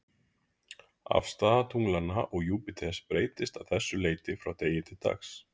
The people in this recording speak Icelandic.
Afstaða tunglanna og Júpíters breytist að þessu leyti frá degi til dags.